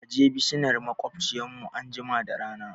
Kaje bisinar maƙwabciyar mu anjima da rana